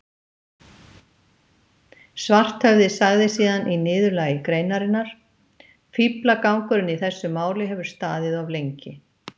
Svarthöfði sagði síðan í niðurlagi greinarinnar: Fíflagangurinn í þessu máli hefur staðið of lengi.